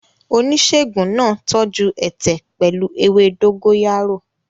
Oníṣègùn náà tọ́jú ẹ̀tẹ̀ pẹ̀lú ewé dógóyárò.